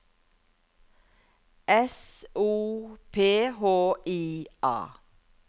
S O P H I A